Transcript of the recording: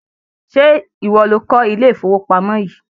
Ṣé ìwọ lo kọ́ ilé ìfowópamọ̀ yìí?